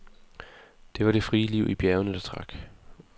Det var det frie liv i bjergene, der trak.